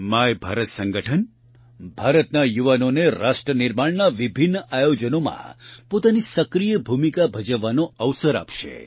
my Bharat સંગઠન ભારતના યુવાનોને રાષ્ટ્રનિર્માણના વિભિન્ન આયોજનોમાં પોતાની સક્રિય ભૂમિકા ભજવવાનો અવસર આપશે